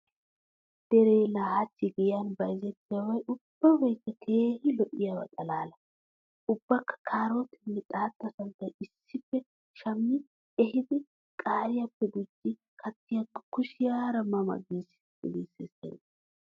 Deree laa hachchi giyan bayzettiyabi ubbabaykka keehi lo'iyaba xalaala. Ubba kaarootiyanne xaatta santtaa issippe shammi ehidi qaariyappe gujji kattiyakko kushiyaara ma ma giisseesittennee.